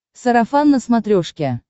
сарафан на смотрешке